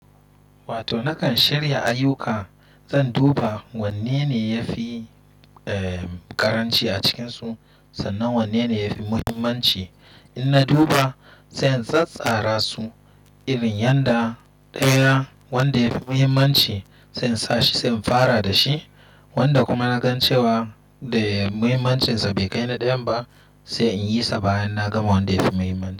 Wato nakan shirya ayyuka, zan duba wanne ne yafi ƙaranci a cikinsu sannan wanne ne yafi muhimmanci. In na duba zan tsattsara su irin yadda ɗaya wanda yafi muhimmanci se in sa shi se in fara da shi, wanda kuma na gan cewa da muhimmancin sa bai kai na ɗayan ba sai in yi sa bayan na gama wanda yafi muhimmanci.